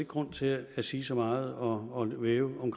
grund til at sige så meget og vævende om